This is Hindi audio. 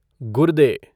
गुर्दे